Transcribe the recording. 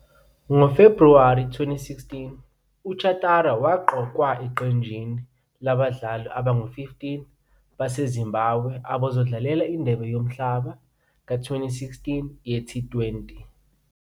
NgoFebhuwari 2016, uChatara waqokwa eqenjini labadlali abangu-15 baseZimbabwe abazodlalela iNdebe yoMhlaba ka- 2016 yeT20.